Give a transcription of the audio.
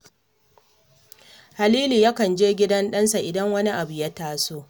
Halilu yakan je gidan ɗansa idan wani abun ya taso